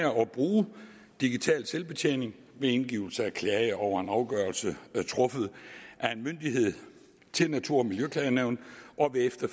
bruge digital selvbetjening ved indgivelse af en klage over en afgørelse truffet af en myndighed til natur og miljøklagenævnet og ved